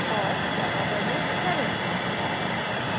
* और java version 7